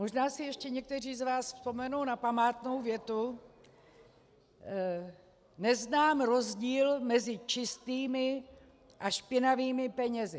Možná si ještě někteří z vás vzpomenou na památnou větu: "Neznám rozdíl mezi čistými a špinavými penězi."